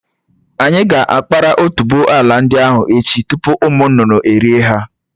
Anyị ga-akpara otuboala ndị ahụ echi tupu ụmụ nnụnụ erié ha.